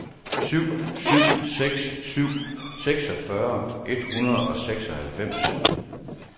syv syv seks syv seksogfyrre et hundrede og seksoghalvfems